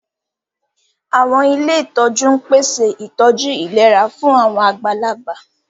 Àwọn ilé ìtọ́jú ń pèsè ìtọ́jú ìlera fún àwọn àgbàlagbà